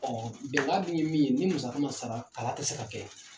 Ɔ bɛnkaa dun ye min ye, ni musaga ma sara kalan tɛ se ka kɛ.